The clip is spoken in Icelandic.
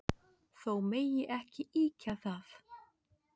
Þó megi ekki ýkja það.